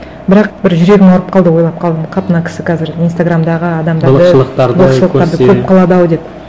бірақ бір жүрегім ауырып қалды ойлап қалдым қап мына кісі қазір инстаграмдағы адамдарды былық шылықтарды көріп қалады ау деп